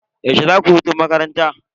Yaushe zaku yi hutun makaranta?